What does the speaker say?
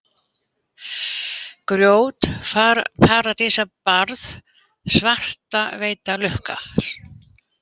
Gjót, Paradísarbarð, Svartaveita, Lukka